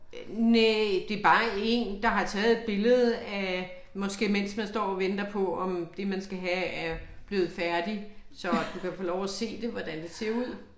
Næ det bare én der har taget et billede af måske mens man står og venter på om det man skal have er blevet færdig, så du kan få lov at se det, hvordan det ser ud